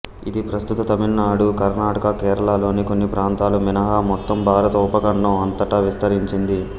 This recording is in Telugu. ఇది ప్రస్తుత తమిళనాడు కర్ణాటక కేరళలోని కొన్ని ప్రాంతాలు మినహా మొత్తం భారత ఉపఖండం అంతటా విస్తరించింది